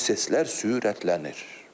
Proseslər sürətlənir.